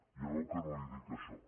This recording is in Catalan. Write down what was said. ja veu que no li dic això